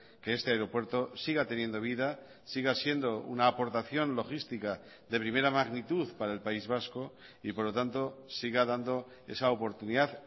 que este aeropuerto siga teniendo vida siga siendo una aportación logística de primera magnitud para el país vasco y por lo tanto siga dando esa oportunidad